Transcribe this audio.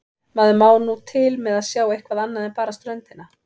Maður má nú til með að sjá eitthvað annað en bara ströndina.